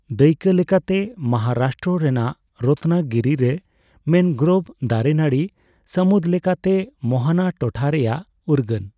ᱫᱟᱹᱭᱠᱟᱹ ᱞᱮᱠᱟᱛᱮ, ᱢᱚᱦᱟᱨᱟᱥᱴᱚᱨᱚ ᱨᱮᱱᱟᱜ ᱨᱚᱛᱱᱟᱜᱤᱨᱤᱨᱮ ᱢᱮᱱᱜᱨᱳᱨᱵᱷ ᱫᱟᱨᱮ ᱱᱟᱹᱲᱤ ᱥᱟᱹᱢᱩᱫ ᱞᱮᱠᱟᱛᱮ ᱢᱳᱦᱚᱱᱟ ᱴᱚᱴᱷᱟ ᱨᱮᱭᱟᱜ ᱩᱨᱜᱟᱹᱱ ᱾